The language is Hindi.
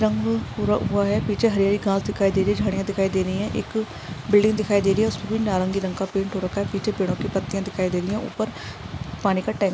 रंग पुरा हुया है पीचे हेर हेर घास दिखाई दे रहे है झडिया दिखाई दे रही है एक बिल्डिंग दिखाई दे रही है उसपे भी नारंगी कलर का पेंट हो रखा है पीचे पेदोंकी पट्टीया दिखाई दे रही है उपर पाणी का टँक --